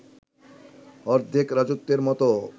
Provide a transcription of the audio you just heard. অর্ধেক রাজত্বের মতো